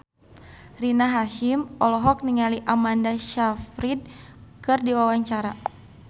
Rina Hasyim olohok ningali Amanda Sayfried keur diwawancara